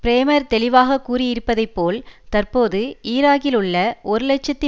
primer தெளிவாக கூறியிருப்பதைப்போல் தற்போது ஈராக்கிலுள்ள ஒரு இலட்சத்தி